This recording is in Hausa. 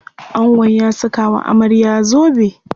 Angon ya saka wa amarya zobe.